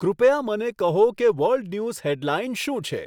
કૃપયા મને કહો કે વર્લ્ડ ન્યુઝ હેડલાઈન શું છે